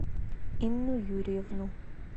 инну юрьевну